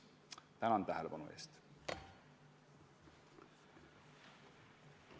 Tänan tähelepanu eest!